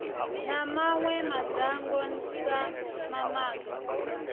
na mawe madzhango sa mamaga